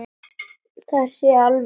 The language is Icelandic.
Það sést alveg.